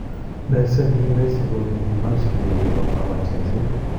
Meset nekiruisi konekimokyin kee kekonfamen cheng'seet